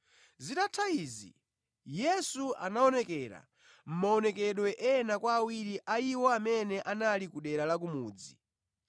Zitatha izi Yesu anaonekera mʼmaonekedwe ena kwa awiri a iwo amene anali ku dera la ku mudzi.